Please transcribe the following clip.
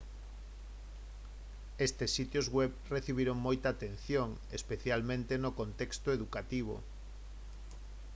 estes sitios web recibiron moita atención especialmente no contexto educativo